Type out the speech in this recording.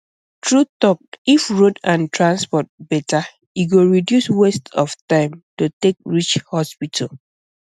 true talk if road and transport better e go reduce waste of time to take reach hospital